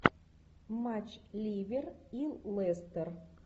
матч ливер и лестер